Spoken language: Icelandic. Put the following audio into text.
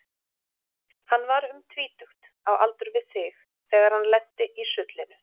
Hann var um tvítugt, á aldur við þig, þegar hann lenti í sullinu.